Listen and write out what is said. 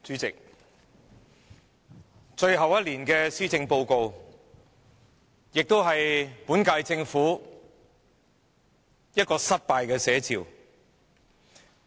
代理主席，這份最後一年的施政報告也是本屆政府的失敗寫照。